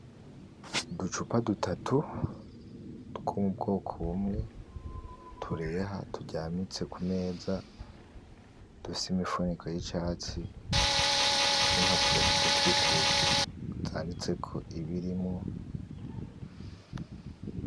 Uducupa dutatu two m'ubwoko bumwe tureha turyamitse kumeza dufise imifuniko yicatsi n’impapuro zidukikuje zanditseko ibirimwo .